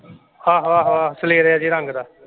ਆਹੋ ਆਹੋ ਆਹੋ ਸਲੇਰੇਆ ਜੇ ਰੰਗ ਦਾ।